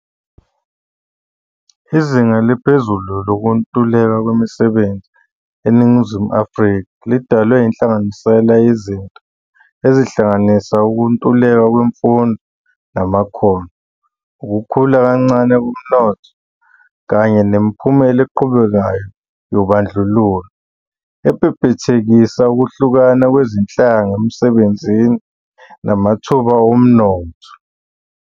Izinga eliphezulu lokuntuleka kwemisebenzi eNingizimu Afrika lidalwe yinhlanganisela yezinto ezihlanganisa ukuntuleka kwemfundo namakhono, ukukhula kancane komnotho, kanye nemiphumela eqhubekayo yobandlululo, ebhebhethekisa ukuhlukana kwezinhlanga emisebenzini namathuba omnotho.